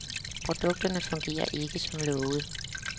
Produkterne fungerer ikke som lovet.